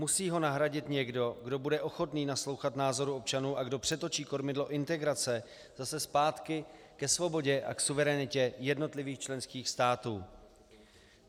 Musí ho nahradit někdo, kdo bude ochotný naslouchat názorům občanů a kdo přetočí kormidlo integrace zase zpátky ke svobodě a k suverenitě jednotlivých členských států.